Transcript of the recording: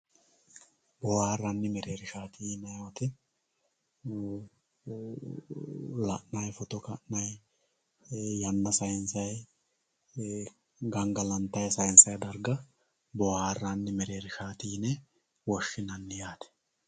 boohaarranni mereershaati yinay woyte la'nay foto ka'nay yanna saynsay gangalantay saaynsay darga boohaarranni mereershaati yine woshshinanni yaate.